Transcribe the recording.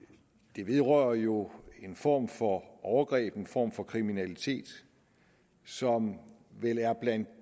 det vedrører jo en form for overgreb en form for kriminalitet som vel er blandt